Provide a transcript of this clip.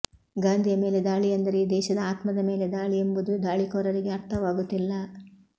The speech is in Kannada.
ಗಾಂಧಿಯ ಮೇಲೆ ದಾಳಿ ಎಂದರೆ ಈ ದೇಶದ ಆತ್ಮದ ಮೇಲೆ ದಾಳಿ ಎಂಬುದು ದಾಳಿಕೋರರಿಗೆ ಅರ್ಥವಾಗುತ್ತಿಲ್ಲ